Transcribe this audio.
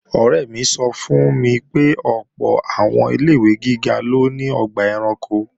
Ọ̀rẹ́ mi sọ fún mi pé ọ̀pọ̀ àwọn ilé-ìwé gíga ló ní ọgbà ẹranko